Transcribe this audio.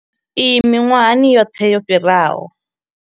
Iyi miṅwahani yoṱhe yo fhiraho.